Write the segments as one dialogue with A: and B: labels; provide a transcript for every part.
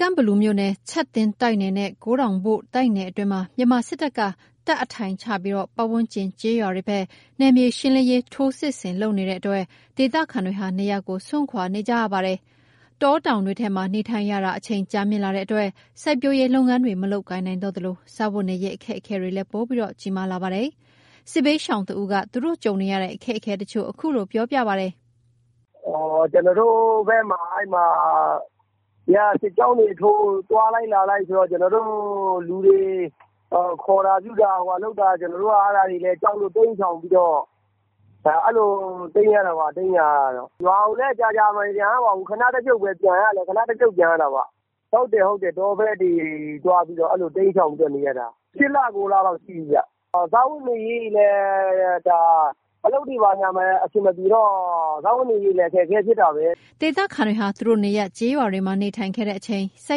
A: ကန့်ဘလူမြို့နယ် ချပ်သင်းတိုက်နယ်နဲ့ ကိုးတောင်ဘို့တိုက်နယ်အတွင်းမှာ မြန်မာစစ်တပ်က တပ်အထိုင်ချပြီး ပတ်ဝန်းကျင် ကျေးရွာတွေဘက် နယ်မြေရှင်းလင်းရေး ထိုးစစ်လုပ်နေတဲ့အတွက် ဒေသခံတွေဟာ နေရပ်ကို စွန့်ခွာနေကြတာပါ။ တောင်တောင်တွေထဲမှာ နေထိုင်ရတာ အချိန်ကြာမြင့်လာတဲ့အတွက် စိုက်ပျိုးလုပ်ငန်းတွေ မလုပ်ကိုင်နိုင်တော့သလို စားဝတ်နေရေး အခက်အခဲတွေလည်း ပိုပြီး ကြီးမားလာပါတယ်။ စစ်ဘေးရှောင်တဦး သူတို့ကြုံနေရတဲ့ အခက်အခဲတချို့ကို အခုလိုပြောပြပါတယ်
B: ။ “ကျွန်တော်တို့ဘက်မှာ စစ်ကြောင်းတွေထိုး သွားလိုက် လာလိုက်ဆိုတော့ လူတွေခေါ်တာ ပြုတာလုပ်တော့ ကျွန်တော်တို့က ကြောက်လို့ အဲ့လိုတိမ်းနေရတာပါ။ ရွာကိုလည်း ကြာကြာမပြန်ရပါဘူး။ ခဏတဖြုတ်ပဲ ပြန်ရတာပေါ့။ တောဘက်တွေတိမ်းရှောင်ပြီးနေနေရတာ ၈ လ ၉ လလောက်ရှိပြီ။ စားဝတ်နေရေးတွေလည်း အလုပ်တွေလည်း အဆင်မပြေတော့ စားဝတ်နေရေးလည်း ခက်ခဲတာပါ။
A: ” ဒေသခံတွေဟာ သူတို့ နေရပ် ကျေးရွာတွေမှာ နေထိုင်ခဲ့တဲ့အချိန်၊ စို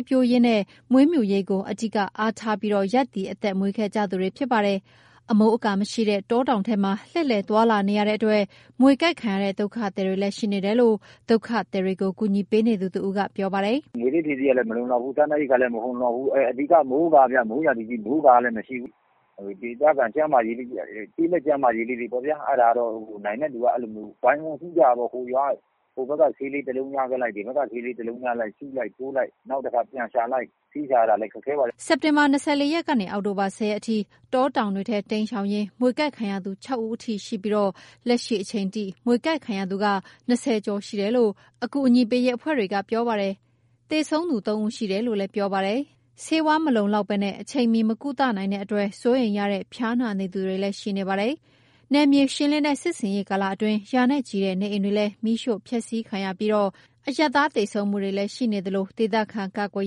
A: က်ပျိုးရေးနဲ့ မွေးမြူရေးကို အဓိက အားထားပြီး ရပ်တည် အသက်မွေးခဲ့ကြသူတွေပါ။ အမိုးအကာမရှိတဲ့ တောတောင်ထဲမှာ လှည့်လှည်သွားလာနေတဲ့အတွက် မြေကိုက်ခံရတဲ့ ဒုက္ခသည်တွေလည်း ရှိနေတယ်လို့ ဒုက္ခသည်တွေကို ကူညီပေးနေသူတဦးကေ ပြာပါတယ်
C: ။ “မြွေဆိပ်ဖြေဆေးလည်း မလုံလောက်ဘူး။ စားနပ်ရိက္ခာလည်း မလုံလောက်ဘူး။ အဓိက က မိုးကာ မိုးရာသီဖြစ်ပေမယ့် မိုးကာက မရှိဘူး။ ဒေသခံ ကျေးလက်ကျန်းမာရေးလေးတွေပေါ့။ နိုင်တဲ့သူက အဲ့ဒါဝိုင်းဝန်းကု့သကြတာပေါ့။ ဟိုဘက်က ဆေးလေးတလုံးရခဲ့လိုက် စုလိုက်ထိုးလိုက် ပြန်ရှာလိုက်နဲ့ ဆေးရှာရတာလည်း ခက်ခဲပါတယ်။” စ
A: က်တင်ဘာ ၂၄ ရက်ကနေ အောက်တိုဘာ ၁၀ ရက်အထိ တောတောင်တွေထဲ တိမ်းရှောင်ရင်း မြွေကိုက်ခံရသူ ၆ ဦးအထိ ရှိပြီး လက်ရှိအချိန်ထိ မြွေကိုက် ခံရသူ ၂၀ ကျော်ရှိတယ်လို့ အကူအညီပေးရေးအဖွဲ့တွေက ပြောပါတယ်။ သေဆုံးသူ ၃ ဦးရှိတယ်လို့လည်း ပြောပါတယ်။ ဆေးဝါး လုံလောကတာ အချိန်မှီ မကုသနိုင်တဲ့အတွက် စိုးရိမ်ရတဲ့ ဖျားနာနေသူတွေလည်း ရှိနေပါတယ်။ နယ်မြေရှင်းလင်းတဲ့ စစ်ဆင်ရေး ကာလအတွင်း ရာနဲ့ချီတဲ့နေအိမ်တွေလည်း မီးရှို့ဖျက်စီးခံရပြီး အရပ်သား သေဆုံးမှုတွေလည်းရှိသလို ဒေသခံ ကာကွယ်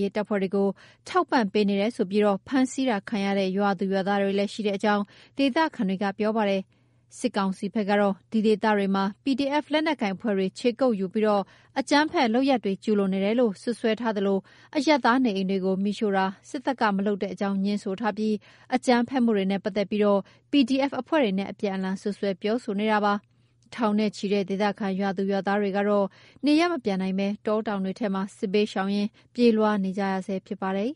A: ရေးတပ်ဖွဲ့တွေကို ထောက်ပံ့ပေးနေတယ်ဆိုပြီး ဖမ်းဆီးတာခံရတဲ့ ရွာသူရွာသားတွေလည်း ရှိတဲ့အကြောင်း ဒေသခံတွေက ပြောပါတယ်။ စစ်ကောင်စီဘက်ကတော့ ဒီဒေသတွေမှာ PDF လက်နက်ကိုင်အဖွဲ့တွေ ခြေကုတ်ယူပြီး အကြမ်းဖက်လုပ်ရပ်တွေ ကျုးလွန်နေတယ်လို့ စွပ်စွဲသလို အရပ်သားနေအိမ်တွေကို မီးရှို့တာ စစ်တပ်က မလုပ်တဲ့အကြောင်း ငြင်းဆိုသလို အကြမ်းဖက်မှုတွေနဲ့ ပတ်သက်ပြီး PDF အဖွဲ့တွေနဲ့ အပြန်အလှန်စွပ်စွဲနေပါတယ်။ ထောင်နဲ့ချီတဲ့ ဒေသခံ ရွာသူရွာသားတွေကတော့ နေရပ်မပြန်နိုင်ဘဲ တောတောင်တွေထဲမှာ စစ်ဘေးရှောင်ရင်း ပြေးလွှားနေကြရဆဲဖြစ်ပါတယ်